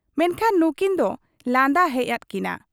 ᱢᱮᱱᱠᱷᱟᱱ ᱱᱩᱠᱤᱱ ᱫᱚ ᱞᱟᱸᱫᱟ ᱦᱮᱡ ᱟᱫ ᱠᱤᱱᱟ ᱾